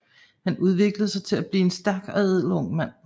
Han udviklede sig til at blive en stærk og ædel ung mand